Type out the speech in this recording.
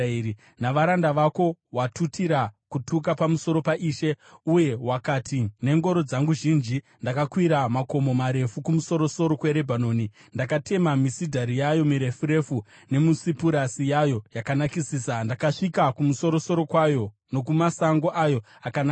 Navaranda vako watutira kutuka pamusoro paIshe. Uye wakati, ‘Nengoro dzangu zhinji ndakakwira makomo marefu, kumusoro-soro kweRebhanoni. Ndakatema misidhari yayo mirefu refu, nemisipuresi yayo yakanakisisa. Ndakasvika kumusoro-soro kwayo, nokumasango ayo akanakisisa.